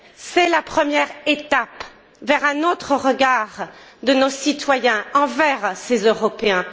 C'est la première étape vers un autre regard de nos citoyens envers ces Européens.